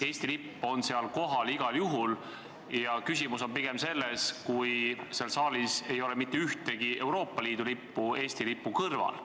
Eesti lipp on seal kohal igal juhul ja küsimus on pigem selles, kas seal saalis ei tohi olla mitte ühtegi Euroopa Liidu lippu Eesti lipu kõrval.